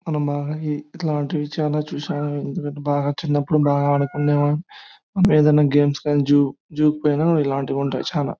ఇట్లాంటివి చూసాము. ఎందుకంటే చిన్నప్పుడు బాగా ఆదుకునే వాడ్ని. ఎడైన గేమ్స్ గని జూ జూ కి పోయిన ఇలాంటివి ఉంటాయి చాలా.